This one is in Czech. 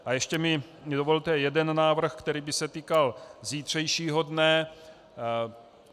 A ještě mi dovolte jeden návrh, který by se týkal zítřejšího dne.